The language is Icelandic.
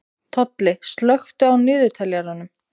Tolli, slökktu á niðurteljaranum.